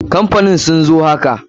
Kamfanin sin sun zo haka.